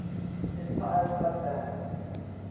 entire sub bands